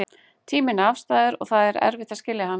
Tíminn er afstæður og það er erfitt að skilja hann.